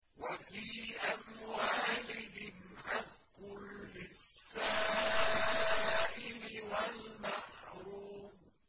وَفِي أَمْوَالِهِمْ حَقٌّ لِّلسَّائِلِ وَالْمَحْرُومِ